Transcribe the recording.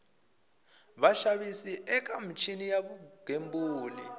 vaxavis eka michini ya vugembuli